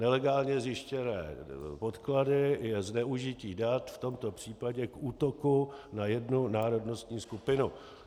Nelegálně zjištěné podklady je zneužití dat, v tomto případě k útoku na jednu národnostní skupinu.